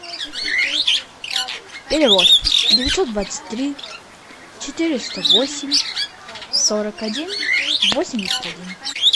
перевод девятьсот двадцать три четыреста восемь сорок один восемьдесят один